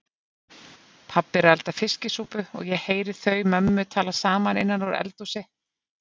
Pabbi er að elda fiskisúpu og ég heyri þau mömmu tala saman innan úr eldhúsi.